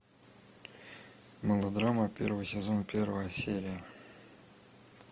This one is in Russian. мылодрама первый сезон первая серия